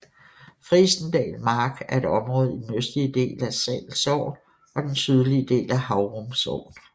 Frijsendal Mark er et område i den østlige del af Sall Sogn og den sydlige del af Haurum Sogn